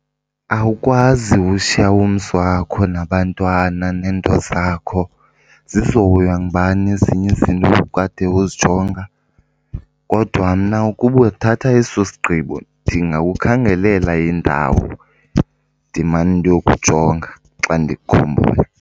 Awukwazi ushiya umzi wakho nabantwana neento zakho. Zizohoywa ngubani ezinye izinto obukade uzijonga? Kodwa mna ukuba uthatha eso sigqibo ndingakukhangelela indawo, ndimane ndiyokujonga xa ndikukhumbula.